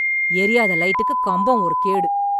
எரியாத லைட்டுக்கு கம்பம் ஒரு கேடு